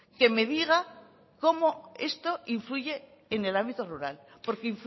que me diga cómo esto influye en el ámbito rural porque